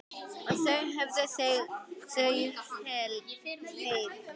Og þá höfðu þau hlegið.